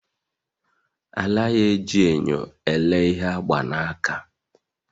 Anaghị eji nyo elee ihe agba n'aka